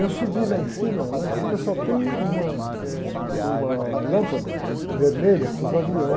Eu subi lá em cima, lá em cima só tem uma, uma lâmpada vermelha para os aviões,